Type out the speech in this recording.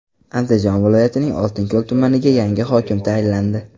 Andijon viloyatining Oltinko‘l tumaniga yangi hokim tayinlandi.